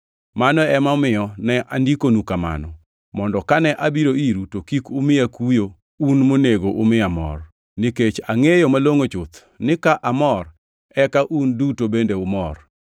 Mano emomiyo ne andikonu kamano, mondo kane abiro iru to kik umiya kuyo un monego umiya mor. Nikech angʼeyo malongʼo chuth ni ka amor eka un duto bende umor.